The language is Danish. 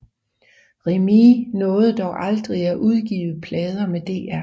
Remee nåede dog aldrig at udgive plader med Dr